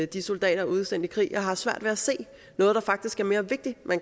de soldater er udsendt i krig jeg har svært ved at se hvad der faktisk er mere vigtigt